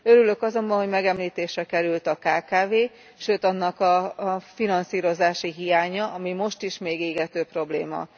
Örülök azonban, hogy megemlítésre került a kkv, sőt annak a finanszírozási hiánya, ami most is még égető probléma.